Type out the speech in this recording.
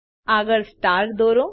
આગળ સ્ટાર દોરો